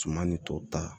Suma ni tɔw ta